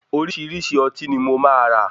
Oríṣìíríṣìí ọtí ni mo máa rà.